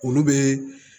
Olu bɛ